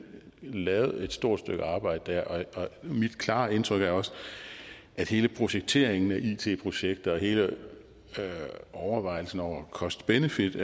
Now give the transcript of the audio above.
lavet et stort stykke arbejde der mit klare indtryk er også at hele projekteringen af it projekter og hele overvejelsen over cost benefit